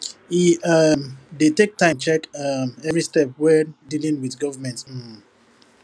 e um dey take time check um every step when dealing with government um